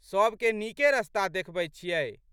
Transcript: सबके नीके रस्ता देखबैत छियै।